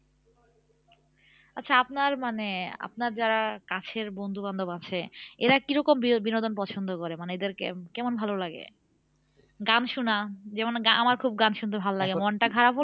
আচ্ছা আপনার মানে আপনার যারা কাছের বন্ধুবান্ধব আছে এরা কি রকম বি বিনোদন পছন্দ করে? মানে এদের কে কেমন ভালোলাগে? গান শোনা যেমন আমার খুব গান শুনতে ভালোলাগে আসলে মনটা খারাপ হল